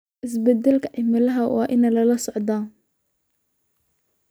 Isbeddelka cimiladu waa in lala socdo.